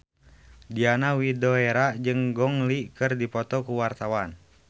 Diana Widoera jeung Gong Li keur dipoto ku wartawan